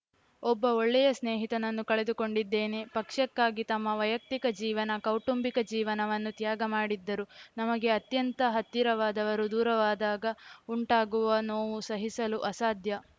ಒಬ್ಬ ಒಳ್ಳೆಯ ಸ್ನೇಹಿತನನ್ನು ಕಳೆದುಕೊಂಡಿದ್ದೇನೆ ಪಕ್ಷಕ್ಕಾಗಿ ತಮ್ಮ ವೈಯಕ್ತಿಕ ಜೀವನ ಕೌಟುಂಬಿಕ ಜೀವನವನ್ನು ತ್ಯಾಗ ಮಾಡಿದ್ದರು ನಮಗೆ ಅತ್ಯಂತ ಹತ್ತಿರವಾದವರು ದೂರವಾದಾಗ ಉಂಟಾಗುವ ನೋವು ಸಹಿಸಲು ಅಸಾಧ್ಯ